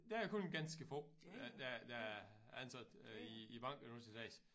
Der er kun ganske få der er der ansat øh i i banken nu til dags